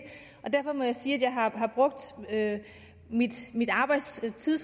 derfor må jeg sige at jeg har brugt min arbejdstid